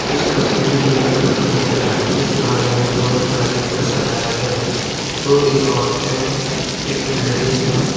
इस तस्वीर में एक घर दिख रहा है जिस घर को पूरे बैलून से सजाया गया है दो-तीन औरतें हैं एक लेडीज हैं।